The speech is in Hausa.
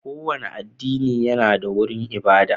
Kowane addini yana da wurin ibada